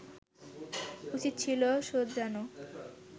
উচিত ছিল শোধরানো”